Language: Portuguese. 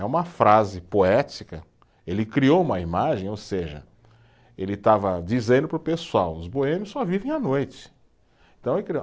É uma frase poética, ele criou uma imagem, ou seja, ele estava dizendo para o pessoal, os boêmios só vivem à noite, então